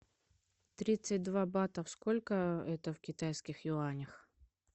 тридцать два бата сколько это в китайских юанях